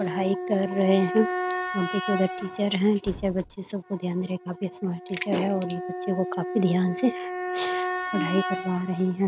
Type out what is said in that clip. पढ़ाई कर रहे हैं आप देख रहे हैं उधर टीचर हैं टीचर बच्चे सबको ध्यान रख कर काफी स्मार्ट टीचर है और ये बच्चे को काफी ध्यान से पढ़ाई करवा रहे हैं ।